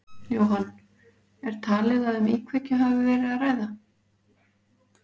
Jóhann, er talið að um íkveikju hafi verið að ræða?